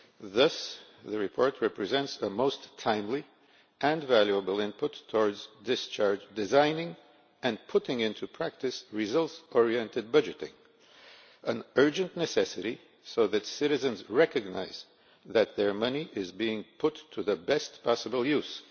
Thus the report represents a most timely and valuable input to discharge designing and putting into practice results oriented budgeting is an urgent necessity so that citizens recognise that their money is being put to the best possible use.